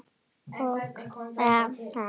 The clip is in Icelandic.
Já, ok.